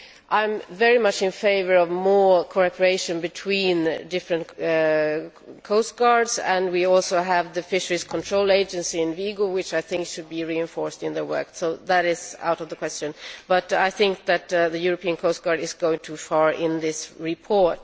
I am very much in favour of more cooperation between different coastguards, and we also have the Fisheries Control Agency in Vigo, which I think should be reinforced in their work so that is out of the question, but I think that the European coastguard is going too far in this report.